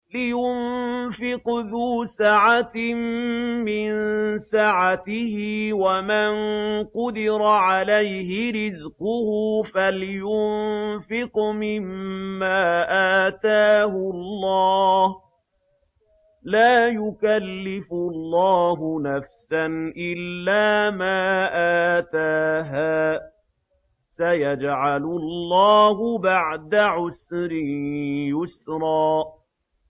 لِيُنفِقْ ذُو سَعَةٍ مِّن سَعَتِهِ ۖ وَمَن قُدِرَ عَلَيْهِ رِزْقُهُ فَلْيُنفِقْ مِمَّا آتَاهُ اللَّهُ ۚ لَا يُكَلِّفُ اللَّهُ نَفْسًا إِلَّا مَا آتَاهَا ۚ سَيَجْعَلُ اللَّهُ بَعْدَ عُسْرٍ يُسْرًا